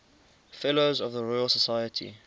fellows of the royal society